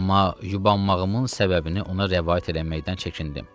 Amma qurbanmağımın səbəbini ona rəvayət eləməkdən çəkindim.